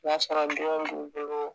I b'a denw b'u bolo